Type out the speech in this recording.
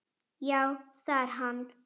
Já, það er hann.